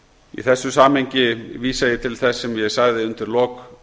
í þessu samhengi vísa ég til þess sem ég sagði undir lok